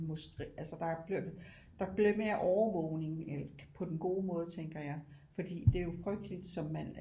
Altså der er blevet lidt mere overvågning på den gode måde tænker jeg for det er jo frygteligt som man